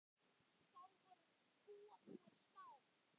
Þá voru kúabúin smá.